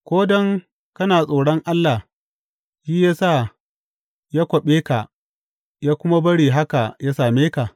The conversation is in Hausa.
Ko don kana tsoron Allah shi ya sa ya kwaɓe ka ya kuma bari haka yă same ka?